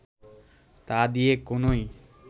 তা দিয়ে কোনই